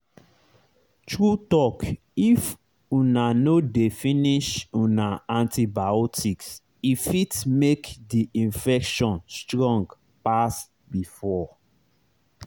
true talkif una no dey finish una antibiotics e fit make the infection strong pass before.